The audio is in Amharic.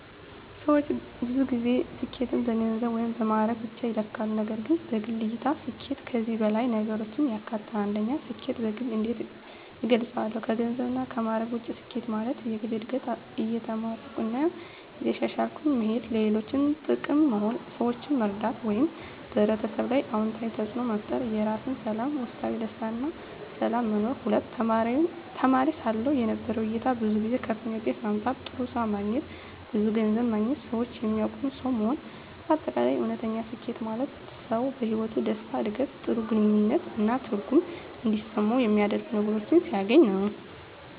ሰዎች ብዙ ጊዜ ስኬትን በገንዘብ ወይም በማዕረግ ብቻ ይለካሉ፣ ነገር ግን በግል እይታ ስኬት ከዚህ በላይ ነገሮችን ያካትታል። 1. ስኬትን በግል እንዴት እገልጻለሁ ከገንዘብና ከማዕረግ ውጭ ስኬት ማለት፦ የግል እድገት – እየተማርኩ እና እየተሻሻልኩ መሄድ ለሌሎች ጥቅም መሆን – ሰዎችን መርዳት ወይም በሕብረተሰብ ላይ አዎንታዊ ተፅዕኖ መፍጠር የራስ ሰላም – ውስጣዊ ደስታ እና ሰላም መኖር 2. ተማሪ ሳለሁ የነበረው እይታ ብዙ ጊዜ ከፍተኛ ውጤት ማምጣት፣ ጥሩ ስራ ማግኘት፣ ብዙ ገንዘብ ማግኘት ሰዎች የሚያውቁት ሰው መሆን በ አጠቃላይ: እውነተኛ ስኬት ማለት ሰው በሕይወቱ ደስታ፣ ዕድገት፣ ጥሩ ግንኙነት እና ትርጉም እንዲሰማው የሚያደርጉ ነገሮችን ሲያገኝ ነው።